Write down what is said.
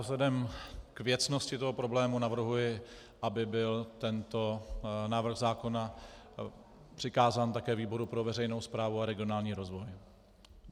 Vzhledem k věcnosti toho problému navrhuji, aby byl tento návrh zákona přikázán také výboru pro veřejnou správu a regionální rozvoj.